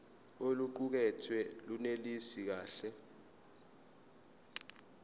oluqukethwe lunelisi kahle